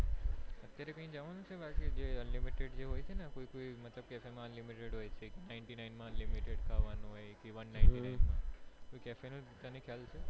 અત્યારે કઈ જવાનું છે જ્યાં unlimited જેવું હોય છે ને કોઈ કોઈ cafe માં unlimitedninety nine માં unlimited ખાવાનું હોય કે one ninety nine માં